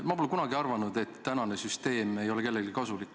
Ma pole kunagi arvanud, et praegune süsteem ei ole kellelegi kasulik.